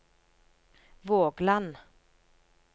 Vågland